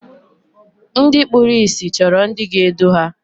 Ndị kpụrụ ịsị chọrọ ndị ga-edu ha.